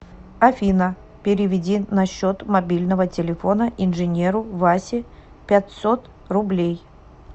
афина переведи на счет мобильного телефона инженеру васе пятьсот рублей